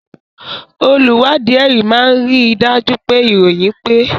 Olùwádìí ẹ̀rí máa rí i dájú pé ìròyìn pé